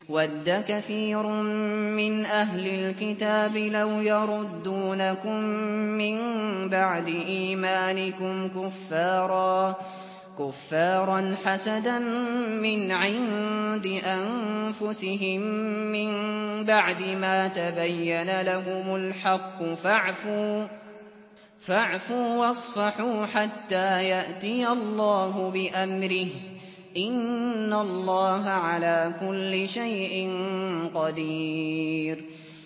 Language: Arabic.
وَدَّ كَثِيرٌ مِّنْ أَهْلِ الْكِتَابِ لَوْ يَرُدُّونَكُم مِّن بَعْدِ إِيمَانِكُمْ كُفَّارًا حَسَدًا مِّنْ عِندِ أَنفُسِهِم مِّن بَعْدِ مَا تَبَيَّنَ لَهُمُ الْحَقُّ ۖ فَاعْفُوا وَاصْفَحُوا حَتَّىٰ يَأْتِيَ اللَّهُ بِأَمْرِهِ ۗ إِنَّ اللَّهَ عَلَىٰ كُلِّ شَيْءٍ قَدِيرٌ